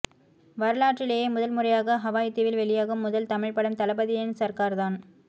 வரலாற்றிலேயே முதன்முறையாக ஹவாய் தீவில் வெளியாகும் முதல் தமிழ் படம் தளபதியின் சர்கார் தான்